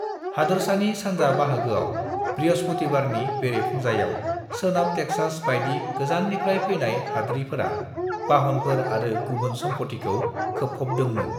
हादोरसानि सानजा बाहागोआव बृहस्पतिबारनि बेरेफुंजायाव सोनाब टेक्सास बायदि गोजान्निफ्राय फैनाय हाद्रिफोरा बाहनफोर आरो गुबुन सम्फ'थिखौ खोबफबदोंमोन।